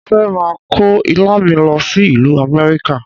Mo fẹ́ máa kó Ilá mi lọ sí ìlú Amẹ́ríkà.